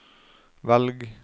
velg